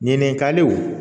Ɲininkaliw